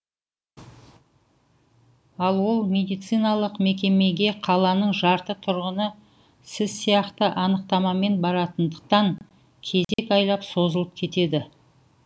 ал ол медициналық мекемеге қаланың жарты тұрғыны сіз сияқты анықтамамен баратындықтан кезек айлап созылып кетеді